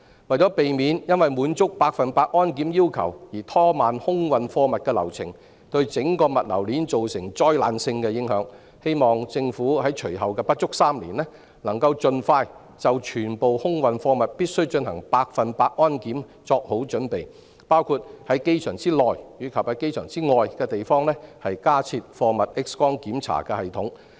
為了避免因要滿足百分之一百保安檢查的要求而拖慢空運貨物的流程，對整個物流鏈造成災難性的影響，我希望政府在隨後的不足3年，能夠盡快就全部空運貨物必須進行百分之一百安檢做好準備，包括在機場內外的地方加設貨物 X 光檢查系統。